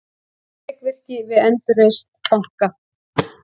Þrekvirki við endurreisn banka